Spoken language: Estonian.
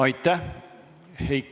Aitäh!